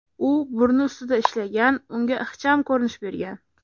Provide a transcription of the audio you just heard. U burni ustida ishlagan, unga ixcham ko‘rinish bergan.